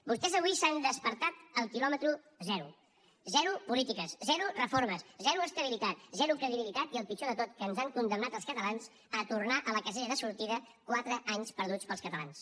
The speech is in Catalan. vostès avui s’han despertat al quilòmetre zero zero polítiques zero reformes zero estabilitat zero credibilitat i el pitjor de tot que ens han condemnat als catalans a tornar a la casella de sortida quatre anys perduts per als catalans